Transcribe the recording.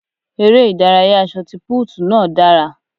Eré ìdárayá ṣọtipúùtù náà dára.